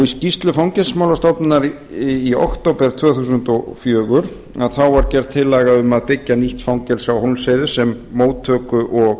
skýrslu fangelsismálastofnunar í október tvö þúsund og fjögur var gerð tillaga um að byggja nýtt fangelsi á hólmsheiði sem móttöku og